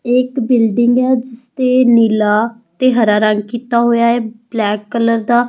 ਇਹ ਇਕ ਬਿਲਡਿੰਗ ਹੈ ਜਿਸ ਤੇ ਨੀਲਾ ਤੇ ਹਰਾ ਰੰਗ ਕੀਤਾ ਹੋਇਆ ਹੈ ਬਲੈਕ ਕਲਰ ਦਾ।